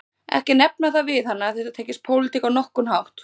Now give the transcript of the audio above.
Ekki nefna það við hana að þetta tengist pólitík á nokkurn hátt